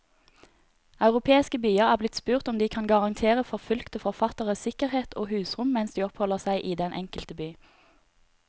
Europeiske byer er blitt spurt om de kan garantere forfulgte forfattere sikkerhet og husrom mens de oppholder seg i den enkelte by.